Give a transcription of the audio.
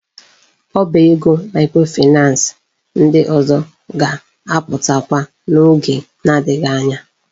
Ọba ego microfinance ndị ọzọ ga-aputakwa na oge na adighi anya.